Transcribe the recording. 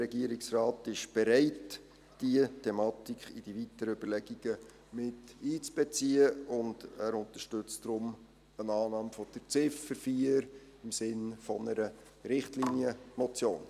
Der Regierungsrat ist bereit, diese Thematik in die weiteren Überlegungen miteinzubeziehen und unterstützt deshalb die Annahme von Ziffer 4 im Sinne einer Richtlinienmotion.